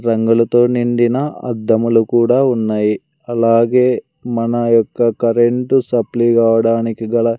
రంగులతో నిండిన అద్దములు కూడా ఉన్నాయ్ అలాగే మన యొక్క కరెంట్ సప్లే కావడానికి గల--